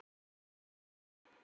En svo skilur leiðir.